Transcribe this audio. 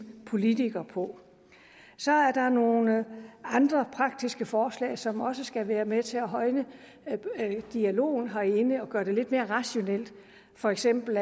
politikere på så er der nogle andre praktiske forslag som også skal være med til at højne dialogen herinde og gøre det lidt mere rationelt for eksempel